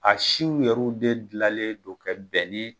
A siw yɛrɛw de gilalen don kɛ bɛnnen